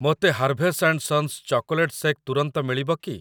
ମୋତେ Harvey's and sons chocolate shake ତୁରନ୍ତ ମିଳିବ କି?